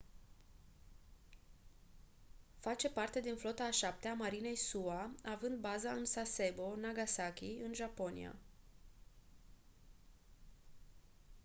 face parte din flota a șaptea a marinei sua având baza în sasebo nagasaki în japonia